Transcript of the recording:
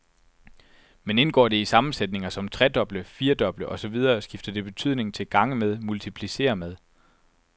Men indgår det i sammensætninger som tredoble, firdoble og så videre skifter det betydning til gange med, multiplicere med.